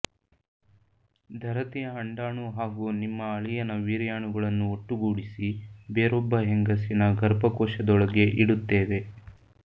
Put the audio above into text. ಧರತಿಯ ಅಂಡಾಣು ಹಾಗೂ ನಿಮ್ಮ ಅಳಿಯನ ವೀರ್ಯಾಣುಗಳನ್ನು ಒಟ್ಟುಗೂಡಿಸಿ ಬೇರೊಬ್ಬ ಹೆಂಗಸಿನ ಗರ್ಭಕೋಶದೊಳಗೆ ಇಡುತ್ತೇವೆ